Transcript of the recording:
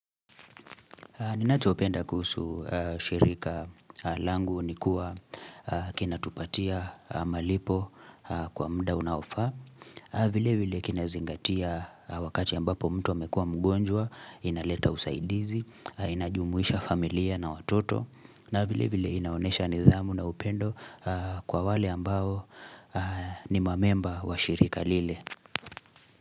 Ninachopenda kuhusu shirika langu ni kuwa kinatupatia malipo kwa muda unaofaa. Vile vile kina zingatia wakati ambapo mtu amekua mgonjwa, inaleta usaidizi, inajumuisha familia na watoto. Na vile vile inaonyesha nidhamu na upendo kwa wale ambao ni mamemba wa shirika lile.